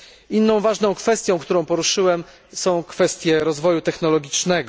Inną ważną kwestią, którą poruszyłem jest kwestia rozwoju technologicznego.